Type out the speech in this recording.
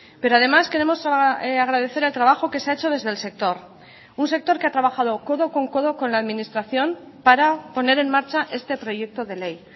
pero además queremos agradecer el trabajo que se ha hecho desde el sector un sector que ha trabajado codo con codo con la administración para poner en marcha este proyecto de ley